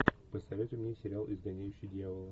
посоветуй мне сериал изгоняющий дьявола